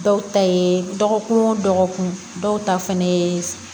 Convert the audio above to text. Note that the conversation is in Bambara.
Dɔw ta ye dɔgɔkun o dɔgɔkun dɔw ta fɛnɛ ye